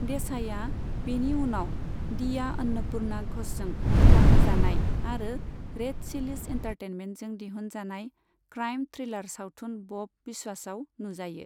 देसाईआ बेनि उनाव दीया अन्नपुर्णा घ'षजों दिथा होजानाय आरो रेड चिलीज एन्टारटेनमेन्टजों दिहुनजानाय क्राइम थ्रिलार सावथुन बब बिस्वासआव नुजायो।